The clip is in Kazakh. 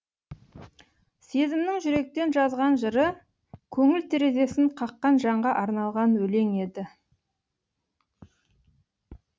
сезімнің жүректен жазған жыры көңіл терезесін қаққан жанға арналған өлең еді